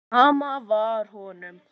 Sama var honum.